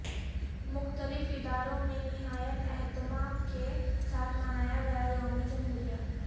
مختلف اداروں میں نہایت اہتمام کے ساتھ منایا گیا یوم جمہوریہ